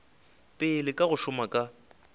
pele ka go šoma ka